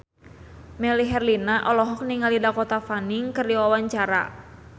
Melly Herlina olohok ningali Dakota Fanning keur diwawancara